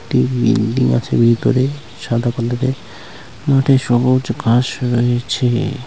একটি ভিতরে সাদা কালার -এর মাঠে সবুজ ঘাস রয়েছে-এ।